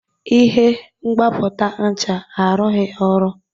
Ihe mgbapụta ncha arụghị ọrụ.